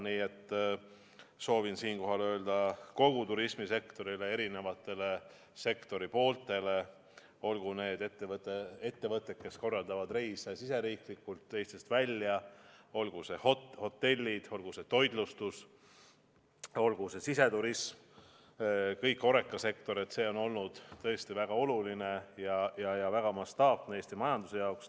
Nii et soovin siinkohal öelda kogu turismisektorile, erinevatele sektori osadele, olgu need ettevõtted, kes korraldavad reise riigisiseselt või Eestist välja, olgu need hotellid, olgu see toitlustus, olgu see siseturism – kogu HoReCa sektor –, et see on olnud tõesti väga oluline ja väga mastaapne Eesti majanduse jaoks.